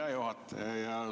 Hea juhataja!